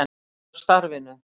Út af starfinu.